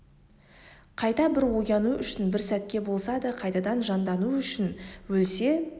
қайта бір ояну үшін бір сәтке болса да қайтадан жандану үшін өлсе